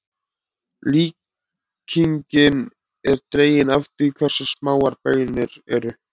Líkingin er dregin af því hversu smáar baunir eru.